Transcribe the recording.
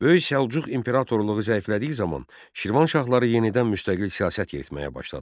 Böyük Səlcuq imperatorluğu zəiflədiyi zaman Şirvanşahları yenidən müstəqil siyasət yeritməyə başladılar.